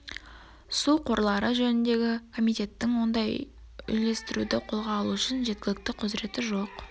су қорлары жөніндегі комитеттің ондай үйлестіруді қолға алу үшін жеткілікті құзыреті жоқ